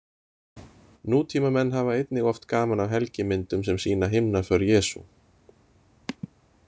Nútímamenn hafa einnig oft gaman af helgimyndum sem sýna himnaför Jesú.